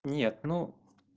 нет ну